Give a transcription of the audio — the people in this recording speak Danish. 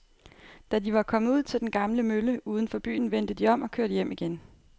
Da de var kommet ud til den gamle mølle uden for byen, vendte de om og kørte hjem igen.